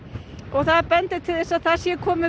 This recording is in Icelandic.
og það bendir til þess að það sé komið